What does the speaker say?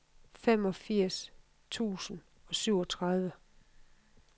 femogfirs tusind og syvogtredive